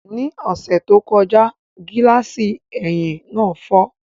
Ní ọ̀sẹ̀ tó kọjá, gíláàsì ẹ̀yìn náà fọ́